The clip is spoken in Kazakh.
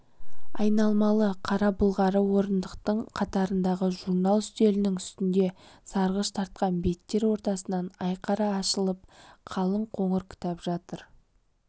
айналмалы қара былғары орындықтың қатарындағы журнал үстелінің үстінде сарғыш тартқан беттер ортасынан айқара ашылып қалың қоңыр кітап жатыр